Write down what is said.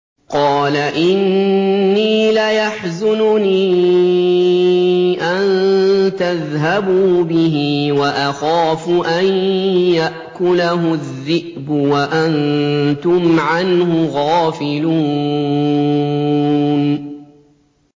قَالَ إِنِّي لَيَحْزُنُنِي أَن تَذْهَبُوا بِهِ وَأَخَافُ أَن يَأْكُلَهُ الذِّئْبُ وَأَنتُمْ عَنْهُ غَافِلُونَ